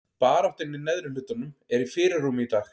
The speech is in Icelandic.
Baráttan í neðri hlutanum er í fyrirrúmi í dag.